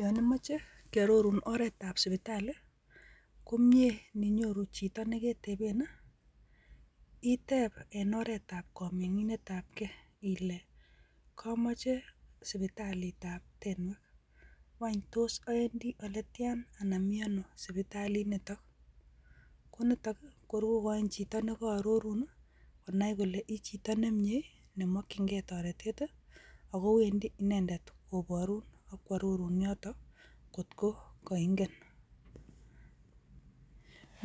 Yon imoche kiororun oret ab sipitali ko mie ininyoru chito neketepen nii itep en oretab kominginet ab gee ile komoche sipitalitab tenwek wany tos owendii oletian anan miono sipitalii niton, ko nitok kor kokoin chito neko ororun nii konai kole ichito nemie ne mokin gee toretet tii ako wendii inendet koborun ak kwororun yotok kii kot ko koingen,